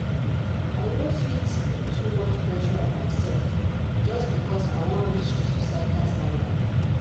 I no fit put too much pressure on myself just because I wan reach to societal standard.